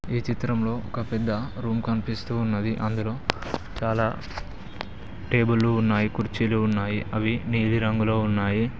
ఈ చిత్రంలో ఒక పెద్ద రూమ్ కనిపిస్తూ ఉన్నది అందులో చాలా టేబులు ఉన్నాయి కుర్చీలు ఉన్నాయి అవి నీలి రంగులో ఉన్నాయి.